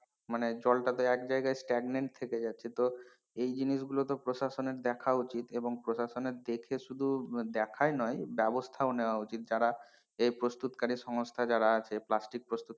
মানে জলটা তো এক জায়গায় stagnant থেকে যাচ্ছে তো এই জিনিসগুলো প্রশাসনের দেখা উচিত এবং প্রশাসনের এর দেখে শুধু দেখায় নয় ব্যবস্থাও নেওয়া উচিত যারা এ প্রস্তুতকারী সংস্থা যারা আছে প্লাস্টিক প্রস্তুত,